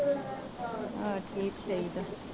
ਆਹ ਠੀਕ ਚਾਹੀਦਾ।